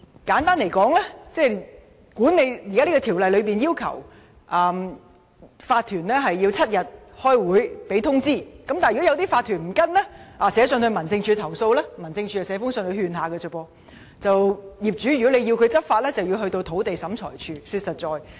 簡單而言，現行《條例》要求法團給予7天的開會通知期，但如果法團不遵從這項要求，寫信到民政事務總署投訴，該署也只能發信勸諭，如果業主要求執法，便要到土地審裁處。